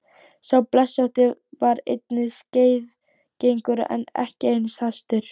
Sá blesótti var einnig skeiðgengur en ekki eins hastur.